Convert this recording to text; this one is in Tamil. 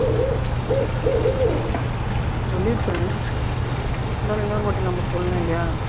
சொல்லியிருக்காரு இருந்தாலும் இன்னொருவாட்டி நம்ம சொல்லணும் இல்லையா?